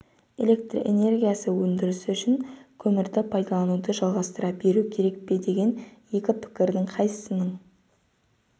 электр энергиясы өндірісі үшін көмірді пайдалануды жалғастыра беру керек пе деген екі пікірдің қайсысының